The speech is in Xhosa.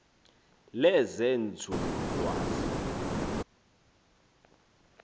lezenzululwazi